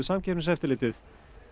Samkeppniseftirlitið